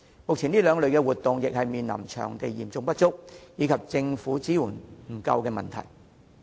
目前，這兩類活動均面對場地嚴重短缺，以及政府支援不足的問題。